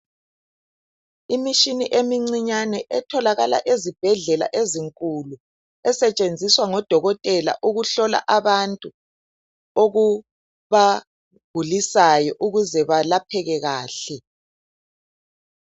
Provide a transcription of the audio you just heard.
Imitshini emincinyane etholakala ezibhedlela ezinkulu esetshenziswa ngodokotela ukuhlola abantu okubagulisayo ukuze balapheke kahle.